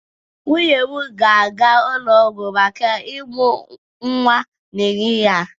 Nwunye m ga-aga ụlọ ọgwụ maka ịmụ nwa n'ehihie a.